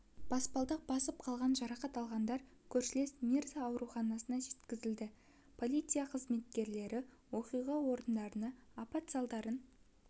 баспалдақ басып қалған жарақат алғандар көршілес мирза ауруханасына жеткізілді полиция қызметкерлері оқиға орнында апат салдарын